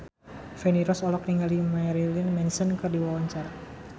Feni Rose olohok ningali Marilyn Manson keur diwawancara